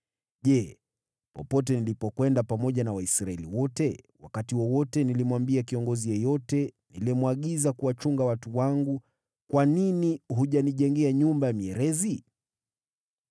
Je, popote nilipokwenda pamoja na Waisraeli wote, wakati wowote nilimwambia kiongozi yeyote niliyemwagiza kuwachunga watu wangu, kwa nini hujanijengea nyumba ya mierezi?’